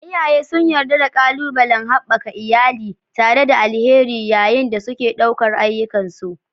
Iyaye sun yarda da ƙalubalen haɓaka iyalai tare da alheri yayin da suke ɗaukar ayyukansu.